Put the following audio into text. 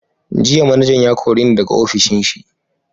Jiya manajan ya kore ni daga ofishin shi.